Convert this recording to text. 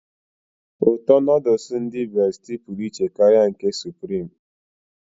uto nudulu ndi besitie puru iche ye nke ndi supireme